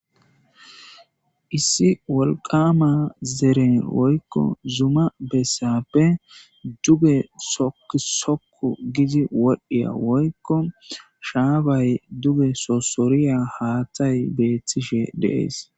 Issi wolqama zere woyko Zuma besape duge soku soku gid wodhiya woykko shafay duge sosoriya haatay betishe de'es